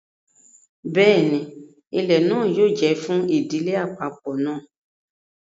Bẹẹni, ilẹ náà yóò jẹ fún ìdílé apapọ náà